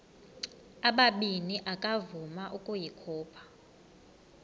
ubabini akavuma ukuyikhupha